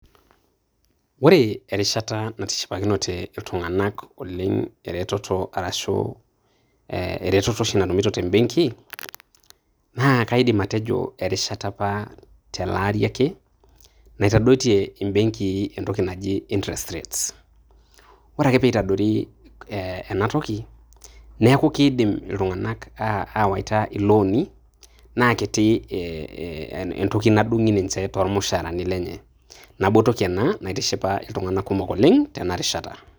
Ore erishata natishipakinote iltung'anak oleng' ereteto arashu ereteto oshi natumito te benki, na kaidim atejo erishata apa tele ari ake, naitadoitie ibenkii entoki naji interest rates. Ore ake pe itadori eh enatoki, neeku kiidim iltung'anak awaita ilooni, nakiti eh entoki nadung'i ninche tormushaarani lenye. Nabo toki ena naitishipa iltung'anak kumok oleng', tenarishata.